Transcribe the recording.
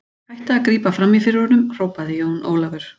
Hættið að grípa framí fyrir honum, hrópaði Jón Ólafur.